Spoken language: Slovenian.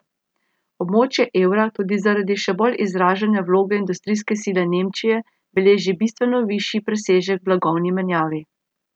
Območje evra tudi zaradi še bolj izražene vloge industrijske sile Nemčije beleži bistveno višji presežek v blagovni menjavi.